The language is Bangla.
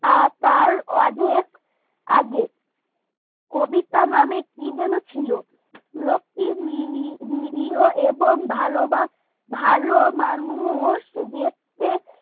আর তার অনেক আগে কবিতা নামে কি যেন ছিল লোকটি নিরীহ নিরীহ এবং ভালো বাস এবং ভালো মানুষ দেখতে